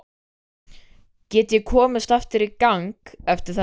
Get ég komist aftur í gang eftir þetta?